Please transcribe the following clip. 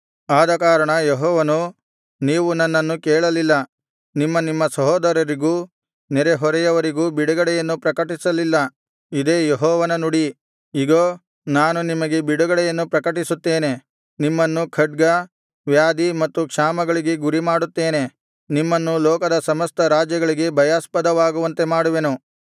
ಆದಕಾರಣ ಯೆಹೋವನು ನೀವು ನನ್ನನ್ನು ಕೇಳಲಿಲ್ಲ ನಿಮ್ಮ ನಿಮ್ಮ ಸಹೋದರರಿಗೂ ನೆರೆಹೊರೆಯವರಿಗೂ ಬಿಡುಗಡೆಯನ್ನು ಪ್ರಕಟಿಸಲಿಲ್ಲ ಇದೇ ಯೆಹೋವನ ನುಡಿ ಇಗೋ ನಾನು ನಿಮಗೆ ಬಿಡುಗಡೆಯನ್ನು ಪ್ರಕಟಿಸುತ್ತೇನೆ ನಿಮ್ಮನ್ನು ಖಡ್ಗ ವ್ಯಾಧಿ ಮತ್ತು ಕ್ಷಾಮಗಳಿಗೆ ಗುರಿಮಾಡುತ್ತೇನೆ ನಿಮ್ಮನ್ನು ಲೋಕದ ಸಮಸ್ತ ರಾಜ್ಯಗಳಿಗೆ ಭಯಾಸ್ಪದವಾಗುವಂತೆ ಮಾಡುವೆನು